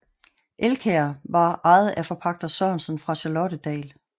Elkær var ejet af forpagter Sørensen fra Charlottedal